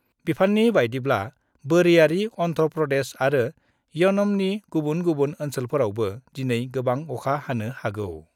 बिफाननि बायदिब्ला बोरियारि अन्ध्र' प्रदेश आरो यनमनि गुबुन गुबुन ओन्सोलफोरावबो दिनै गोबां अखा हानो हागौ।